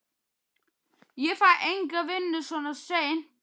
Ég fæ enga vinnu svona seint.